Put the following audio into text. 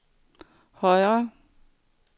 højre